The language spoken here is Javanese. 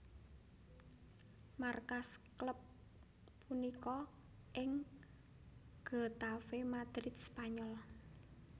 Markas klub punika ing Getafe Madrid Spanyol